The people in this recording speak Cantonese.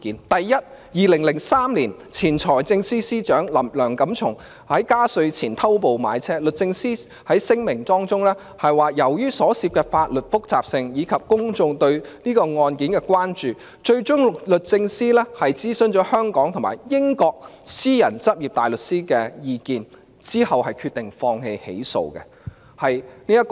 第一，在2003年，前財政司司長梁錦松在加稅前偷步買車，律政司在聲明中表示，由於所涉的法律複雜性，以及公眾對這宗案件的關注，最終律政司諮詢香港和英國私人執業大律師的意見，然後決定放棄起訴。